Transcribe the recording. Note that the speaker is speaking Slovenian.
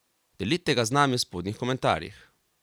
Delite ga z nami v spodnjih komentarjih!